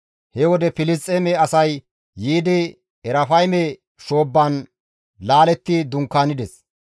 He wode Filisxeeme asay yiidi Erafayme shoobban laaletti dunkaanides.